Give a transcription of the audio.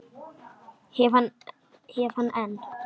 Hef hann enn.